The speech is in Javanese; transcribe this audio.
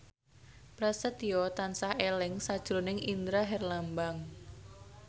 Prasetyo tansah eling sakjroning Indra Herlambang